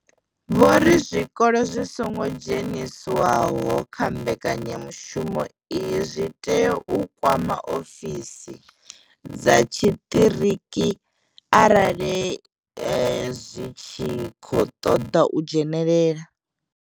Vho ri zwikolo zwi songo dzheniswaho kha mbekanyamushumo iyi zwi tea u kwama ofisi dza tshiṱiriki arali zwi tshi khou ṱoḓa u dzhenelela.